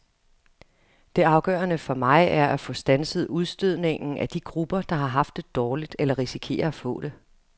Det afgørende for mig er at få standset udstødningen af de grupper, der har haft det dårligt eller risikerer at få det.